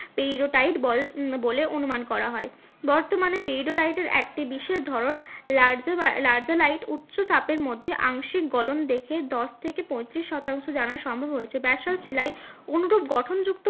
পেইরোটাইট বলে অনুমান করা হয় বর্তমানে পেইরোটাইট এর একটি বিশেষ ধরণ উচ্চ তাপের মধ্যে আংশিক গলন দেখে দশ থেকে পঁয়ত্রিশ শতাংশ জানা সম্ভব হয়েছে ব্যাসল্ট শিলায় অনুরূপ গঠন যুক্ত